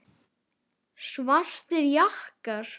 Svartir jakkar.